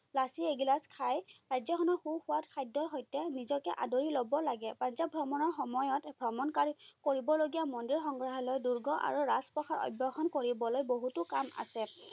লাচি এগিলাচ খাই ৰাজ্যখনৰ সুস্বাদ খাদ্যৰ সৈতে নিজকে আদৰি লব লাগে। পাঞ্জাৱ ভ্ৰমণৰ সময়ত ভ্ৰমণ কৰিবলগীয়া মন্দিৰ, সংগ্ৰাহালয়, দূৰ্গ, আৰু ৰাজপ্ৰসাদ কৰিবলৈ বহুতো কাম আছে।